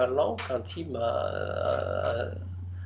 langan tíma að